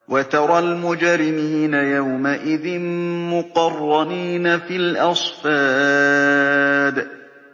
وَتَرَى الْمُجْرِمِينَ يَوْمَئِذٍ مُّقَرَّنِينَ فِي الْأَصْفَادِ